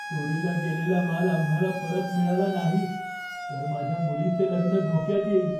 चोरीला गेलेला माल आम्हाला परत मिळाला नाही तर माझ्या मुलीचे लग्न धोक्यात येईल.